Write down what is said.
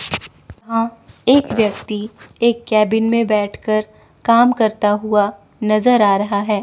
एक व्यक्ति एक केबिन में बैठ कर काम करता हुआ नज़र आ रहा है।